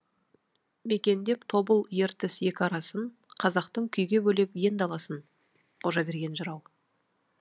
мекендеп тобыл ертіс екі арасын қазақтың күйге бөлеп ең даласын қожаберген жырау